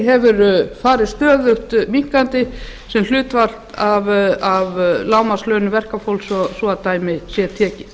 grunnlífeyrir hefur farið stöðug minnkandi sem hlutfall af lágmarkslaunum verkafólks svo dæmi sé tekið